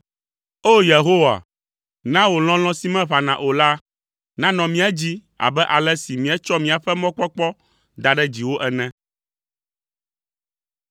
O! Yehowa, na wò lɔlɔ̃ si meʋãna o la, nanɔ mía dzi abe ale si míetsɔ míaƒe mɔkpɔkpɔ da ɖe dziwò ene.